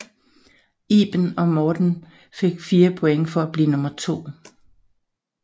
Iben og Morten fik 4 point for at blive nummer to